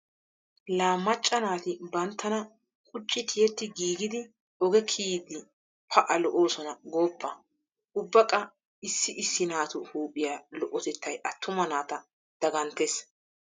La macca naati banttana qucci tiyetti giigidi oge kiyiiddi pa"a lo'oosona gooppa. Ubba qa issi issi naatu huuphiya lo'otettay attuma naata daganttes.